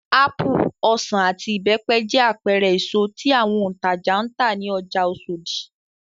Ápù, ọsàn, àti ìbẹ́pẹ jẹ́ àpẹẹrẹ èso tí àwọn òǹtajà ń tà ní ọjà Oṣòdì.